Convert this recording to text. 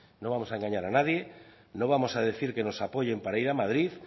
no vamos a engañar a nadie no vamos a decir que nos apoyen para ir a madrid